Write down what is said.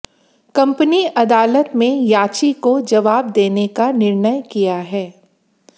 company अदालत में याची को जवाब देने का निर्णय किया है